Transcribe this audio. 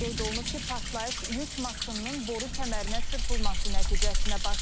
Qeyd olunub ki, partlayış yük maşınının boru kəmərinə çırpılması nəticəsində baş verib.